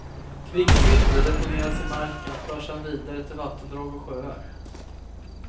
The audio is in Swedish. Kvicksilvret deponeras i marken och förs sedan vidare till vattendrag och sjöar.